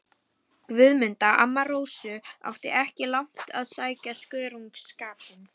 Guðmunda, amma Rósu, átti ekki langt að sækja skörungsskapinn.